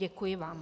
Děkuji vám.